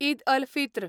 Eid al Fitr